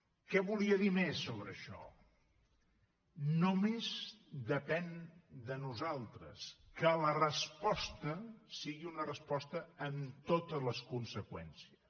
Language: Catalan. què volia dir més sobre això només depèn de nosaltres que la resposta sigui una resposta amb totes les conseqüències